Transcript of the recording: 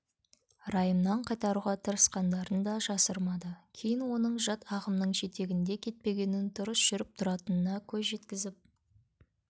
райымнан қайтаруға тырысқандарын да жасырмады кейін оның жат ағымның жетегінде кетпегенін дұрыс жүріп-тұратынына көз жеткізіп